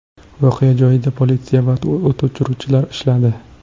Voqea joyida politsiya va o‘t o‘chiruvchilar ishladi.